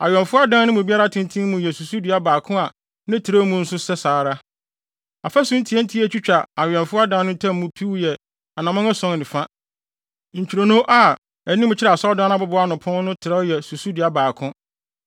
Awɛmfo adan no mu biara tenten mu yɛ susudua baako na ne trɛw mu nso saa ara, afasu ntiantia a etwitwa awɛmfo adan no ntam mu piw yɛ anammɔn ason ne fa. Ntwironoo a anim kyerɛ asɔredan no abobow ano pon no trɛw yɛ susudua baako.